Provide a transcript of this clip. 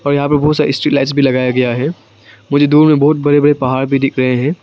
यहां पर बहुत सारे स्ट्रीट लाइट भी लगाया गया है मुझे दूर में बहुत बड़े बड़े पहाड़ भी दिख रहे हैं।